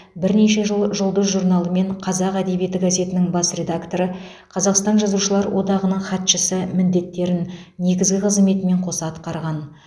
бірнеше жыл жұлдыз журналы мен қазақ әдебиеті газетінің бас редакторы қазақстан жазушылар одағының хатшысы міндеттерін негізгі қызметімен қоса атқарған